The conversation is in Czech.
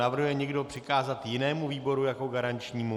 Navrhuje někdo přikázat jinému výboru jako garančnímu?